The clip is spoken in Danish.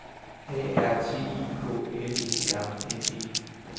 A R T I K L E R N E